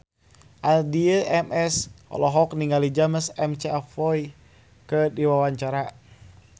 Addie MS olohok ningali James McAvoy keur diwawancara